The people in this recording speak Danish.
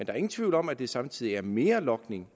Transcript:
er ingen tvivl om at der samtidig er mere logning